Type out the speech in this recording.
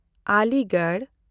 Aligarh